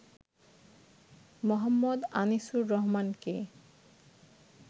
মো. আনিসুর রহমানকে।